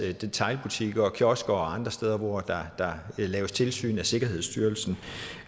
detailbutikker kiosker og andre steder hvor der laves tilsyn af sikkerhedsstyrelsen